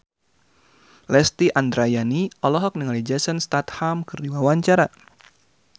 Lesti Andryani olohok ningali Jason Statham keur diwawancara